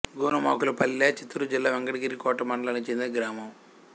గోనుమాకులపల్లె చిత్తూరు జిల్లా వెంకటగిరి కోట మండలానికి చెందిన గ్రామం